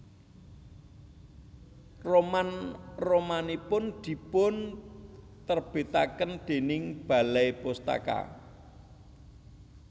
Roman romanipun dipun terbitaken déning Balai Pustaka